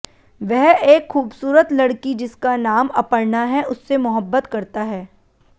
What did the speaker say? वह एक खूबसूरत लड़की जिसका नाम अपर्णा है उससे मोहब्बत करता है